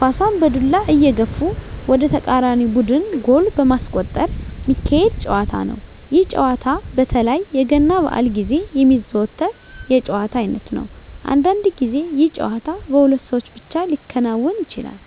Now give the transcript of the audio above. ኳሳን በዱላ እየገፉ ወደ ተቃራኒ ቡድን ጎል በማስቆጠር ሚካሄድ ጨዋታ ነው። ይህ ጨዋታ በተለይ የገና በአል ግዜ የሚዘወተር የጨዋታ አይነት ነው። አንዳንድ ግዜ ይህ ጨዋታ በሁለት ሰው ብቻ ሊከናወን ይችላል።